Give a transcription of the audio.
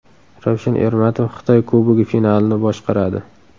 Ravshan Ermatov Xitoy Kubogi finalini boshqaradi.